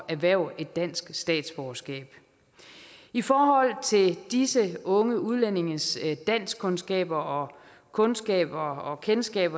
erhverve dansk statsborgerskab i forhold til disse unge udlændinges danskkundskaber og kundskaber og kendskab